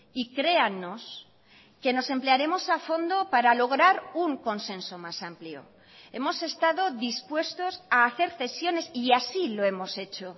y créannos que nos emplearemos a fondo para lograr un consenso más amplio hemos estado dispuestos a hacer cesiones y así lo hemos hecho